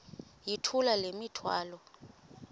yithula le mithwalo